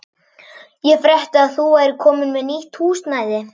Ég frétti að þú værir komin með nýtt húsnæði.